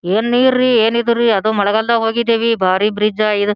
ಏನ್ ನೀರ್ ರೀ ಏನ್ ಇದು ರಿ ಅದು ಮಳಗಾಲದಲ್ಲಿ ಹೋಗಿದೀವಿ ಬಾರಿ ಬ್ರಿಜ್ ಈದ್--